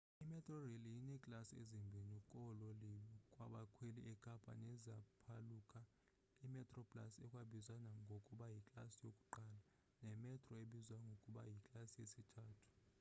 imetrorail ineeklasi ezimbini koololiwe babakhweli ekapa neziphaluka: imetroplus ekwabizwa ngokuba yiklasi yokuqala nemetro ebizwa ngokuba yiklasi yesithathu